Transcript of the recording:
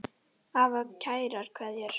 Afi kærar kveðjur fær.